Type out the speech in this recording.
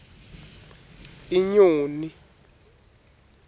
inyoni